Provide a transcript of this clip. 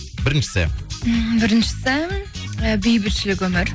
біріншісі м біріншісі і бейбітшілік өмір